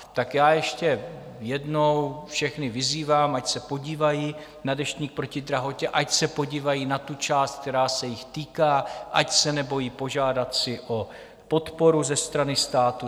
Tak já ještě jednou všechny vyzývám, ať se podívají na Deštník proti drahotě, ať se podívají na tu část, která se jich týká, ať se nebojí požádat si o podporu ze strany státu.